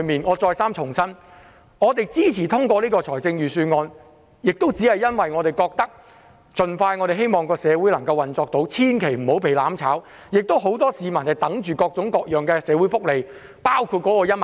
我再三重申，我們支持通過預算案，只是因為我們希望社會能夠盡快回復運作，不要被"攬炒"，很多市民等待着各種各樣的社會福利，包括派發1萬元。